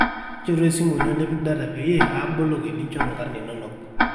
nchoru esimu ino nipik data peyie aaboloki ninchoru nkarn inono